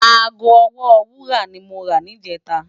Aágó òwó wúrá ni mó rá nijètá